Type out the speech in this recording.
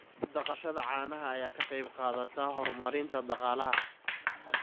Dhaqashada caanaha ayaa ka qayb qaadata horumarinta dhaqaalaha.